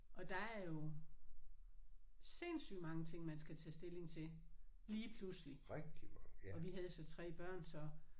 Og der er jo sindsygt mange ting man skal tage stilling til lige pludselig og vi havde så 3 børn så